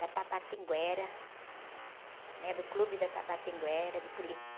Da Tabatinguera, né? Do clube da Tabatinguera, de polícia.